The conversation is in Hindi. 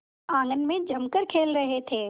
आंगन में जमकर खेल रहे थे